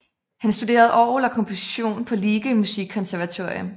Han studerede orgel og komposition på Liege Musikkonservatorium